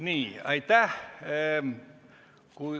Nii, aitäh!